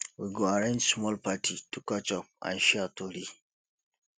we go arrange small party to catch up and share tori